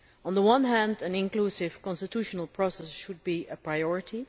On the one hand an inclusive constitutional process should be a priority.